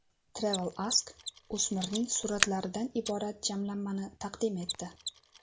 TravelAsk o‘smirning suratlaridan iborat jamlanmani taqdim etdi .